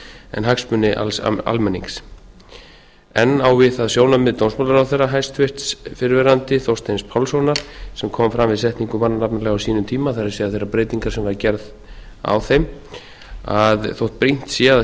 en hagsmuni alls almennings enn á við það sjónarmið dómsmálaráðherra hæstvirtur fyrrverandi þorsteins pálssonar sem kom fram við setningu mannanafnalaga á sínum tíma það er þeirrar breytingar sem var gerð á þeim að þótt brýnt sé að